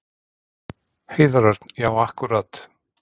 Heiðar Örn: Já akkúrat.